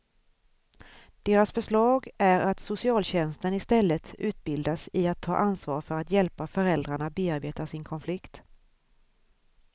Deras förslag är att socialtjänsten istället utbildas i att ta ansvar för att hjälpa föräldrarna bearbeta sin konflikt.